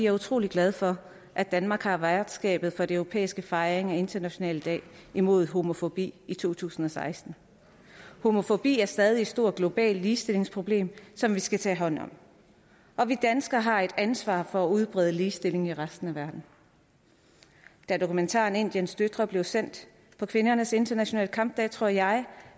er utrolig glad for at danmark har værtskabet for den europæiske fejring af den internationale dag imod homofobi i to tusind og seksten homofobi er stadig et stort globalt ligestillingsproblem som vi skal tage hånd om og vi danskere har et ansvar for at udbrede ligestillingen i resten af verden da dokumentaren indiens døtre blev sendt på kvindernes internationale kampdag tror jeg